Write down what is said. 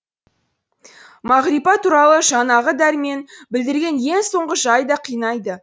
мағрипа туралы жаңағы дәрмен білдірген ең соңғы жай да қинайды